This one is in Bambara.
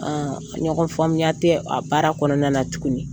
ɲɔgɔn faamuya tɛ a baara kɔnɔna na tuguni.